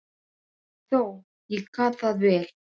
Og þó, ég gat það vel.